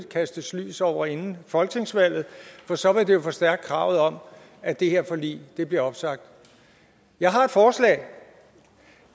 kastes lys over det inden folketingsvalget for så vil det forstærke kravet om at det her forlig bliver opsagt jeg har et forslag